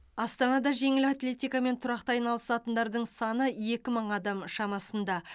астанада жеңіл атлетикамен тұрақты айналысатындардың саны екі мың адам шамасында